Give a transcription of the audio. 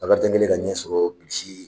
Bakarijan kɛlen ka ɲɛ sɔrɔ Bilisi